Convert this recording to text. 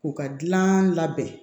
U ka dilan labɛn